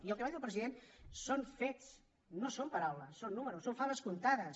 i el que va dir el president són fets no són paraules són números són faves comptades